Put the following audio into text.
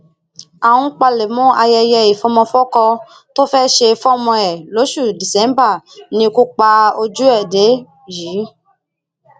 ó ń palẹmọ ayẹyẹ ìfọmọfọkọ tó fẹẹ ṣe fọmọ ẹ lóṣù díṣẹbà ni ikú pajú ẹ dé yìí